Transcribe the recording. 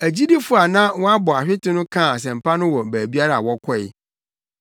Agyidifo a na wɔabɔ ahwete no kaa asɛmpa no wɔ baabiara a wɔkɔe.